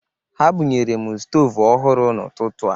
Ha bunyere m stoovu ohụrụ n'ụtụtụ a.